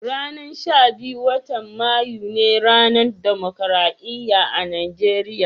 Ranan sha biyun, wotan Mayu ne ranan Dimokuradiyya a'Nijeriya.